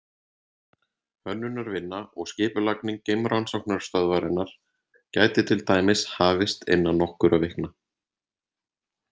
Hönnunarvinna og skipulagning geimrannsóknarstöðvarinnar gæti til dæmis hafist innan nokkurra vikna.